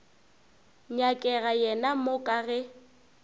nyakega yena mo ka ge